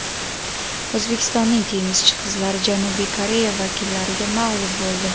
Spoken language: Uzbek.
O‘zbekistonning tennischi qizlari Janubiy Koreya vakillariga mag‘lub bo‘ldi.